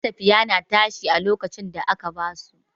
matafiya na tashi lokacin da aka ba su.